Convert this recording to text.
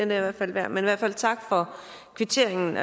hvert fald værd men tak for kvitteringen